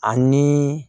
Ani